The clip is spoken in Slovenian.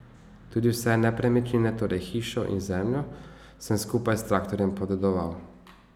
Tudi vse nepremičnine, torej hišo in zemljo, sem skupaj s traktorjem podedoval.